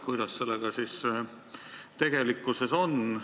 Kuidas sellega siis tegelikkuses on?